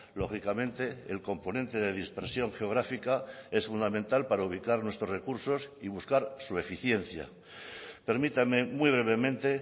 lógicamente el componente de dispersión geográfica es fundamental para ubicar nuestros recursos y buscar su eficiencia permítame muy brevemente